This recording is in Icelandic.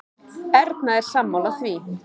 Erna er sammála því.